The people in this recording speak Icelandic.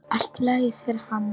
Allt í lagi, segir hann.